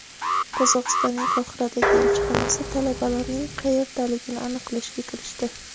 Qozog‘istonning Qohiradagi elchixonasi talabalarning qayerdaligini aniqlashga kirishdi.